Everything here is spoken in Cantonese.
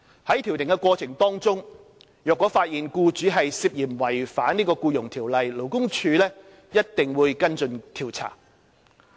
在調停過程中，若發現僱主涉嫌違反《僱傭條例》，勞工處一定會跟進調查。